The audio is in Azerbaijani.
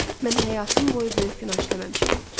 Mən həyatım boyu böyük günah işləməmişəm.